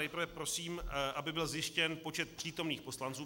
Nejprve prosím, aby byl zjištěn počet přítomných poslanců.